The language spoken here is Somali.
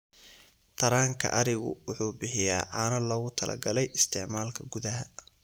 Taranka arigu wuxuu bixiyaa caano loogu talagalay isticmaalka gudaha.